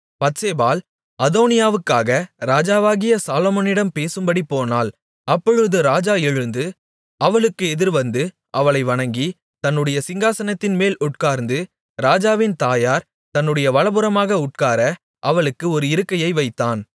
பத்சேபாள் அதோனியாவுக்காக ராஜாவாகிய சாலொமோனிடம் பேசும்படி போனாள் அப்பொழுது ராஜா எழுந்து அவளுக்கு எதிரேவந்து அவளை வணங்கி தன்னுடைய சிங்காசனத்தின்மேல் உட்கார்ந்து ராஜாவின் தாயார் தன்னுடைய வலதுபுறமாக உட்கார அவளுக்கு ஒரு இருக்கையை வைத்தான்